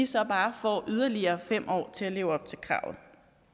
så bare får yderligere fem år til at leve op til kravet